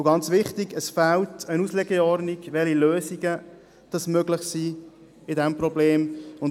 Und ganz wichtig: Es fehlt eine Auslegeordnung darüber, welche Lösungen möglich sind.